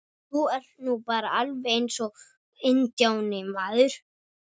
Þú ert nú bara alveg eins og INDJÁNI, maður!